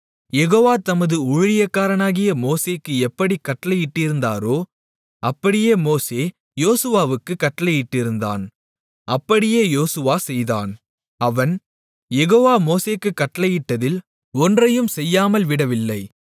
யெகோவா தமது ஊழியக்காரனாகிய மோசேக்கு எப்படிக் கட்டளையிட்டிருந்தாரோ அப்படியே மோசே யோசுவாவுக்குக் கட்டளையிட்டிருந்தான் அப்படியே யோசுவா செய்தான் அவன் யெகோவா மோசேக்குக் கட்டளையிட்டதில் ஒன்றையும் செய்யாமல் விடவில்லை